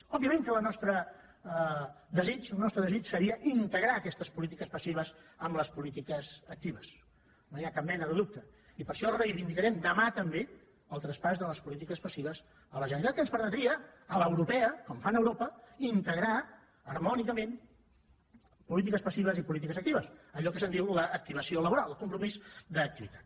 òbviament que el nostre desig seria integrar aquestes polítiques passives en les polítiques actives no hi ha cap mena de dubte i per això reivindicarem demà també el traspàs de les polítiques passives a la generalitat que ens permetria a l’europea com fan a europa integrar harmònicament polítiques passives i polítiques actives allò que se’n diu l’ activació laboral el compromís d’activitat